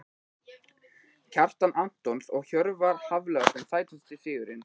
Kjartan Antons og Hjörvar Hafliðason Sætasti sigurinn?